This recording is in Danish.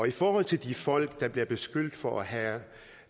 i forhold til de folk der bliver beskyldt for at have